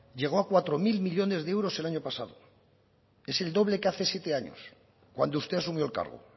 llegó a cuatro mil millónes de euros el año pasado es el doble que hace siete años cuando usted asumió el cargo